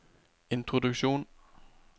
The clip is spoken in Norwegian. introduksjon